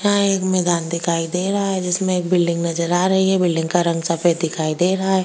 हां एक मैदान दिखाई दे रहा है जिसमे बिल्डिंग नजर आ रही है बिल्डिंग का रंग सफेद दिखाई दे रहा है।